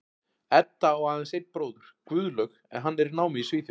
Edda á aðeins einn bróður, Guðlaug, en hann er í námi í Svíþjóð.